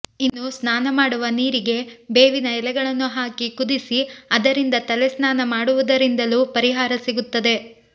ಇನ್ನು ಸ್ನಾನ ಮಾಡುವ ನೀರಿಗೆ ಬೇವಿನ ಎಲೆಗಳನ್ನು ಹಾಕಿ ಕುದಿಸಿ ಅದರಿಂದ ತಲೆ ಸ್ನಾನ ಮಾಡುವುದರಿಂದಲೂ ಪರಿಹಾರ ಸಿಗುತ್ತದೆ